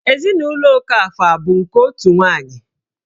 Ezinụlọ Okafọ abụ nke otu nwanyị?